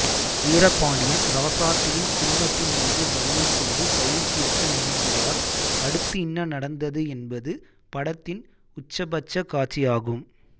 வீரபாண்டியன் ராசாத்தியின் குடும்பத்தின்மீது வன்மம் கொண்டு பழி தீர்க்க நினைக்கிறார்அடுத்து என்ன நடந்தது எனபது படத்தின் உச்சபட்ச காட்சியாகும்